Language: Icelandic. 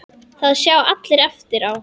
Það sjá allir eftir á.